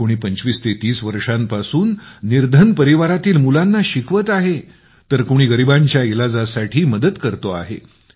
कुणी २५ ते ३० वर्षांपासून निर्धन परिवारांतील मुलांना शिकवत आहे तर कुणी गरीबांच्या इलाजासाठी मदत करतो आहे